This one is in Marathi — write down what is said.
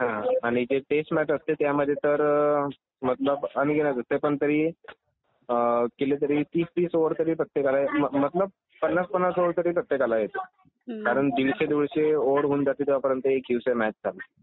हा आणि जे टेस्ट मॅच असते त्यामध्ये तर मतलब अनगिनत असते पण तरी केलं तरी तीस तीस ओवर तरी प्रत्येकाला मतलब पन्नास पन्नास ओवर तरी प्रत्येकाला येते. कारण दीडशे दीडशे ओवर होऊन जाते तेव्हा पर्यंत एक दिवसाची मॅच जाते